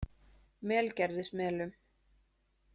Melgerðismelum